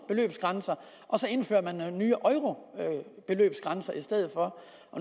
og at indføre nogle nye beløbsgrænser i stedet for